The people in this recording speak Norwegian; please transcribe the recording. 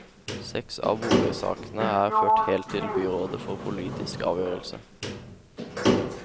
Seks av boligsakene er ført helt til byrådet for politisk avgjørelse.